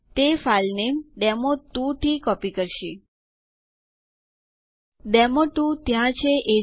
તેથી ચાલો ડક નામનું એક નવું યુઝર અકઉન્ટ બનાવીએ